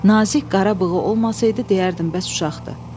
Nazik qara bığı olmasaydı, deyərdim bəs uşaqdır.